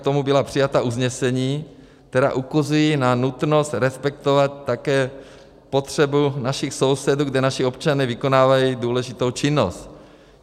K tomu byla přijata usnesení, která ukazují na nutnost respektovat také potřebu našich sousedů, kde naši občané vykonávají důležitou činnost.